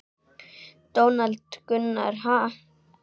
Donald Gunnar: Ha?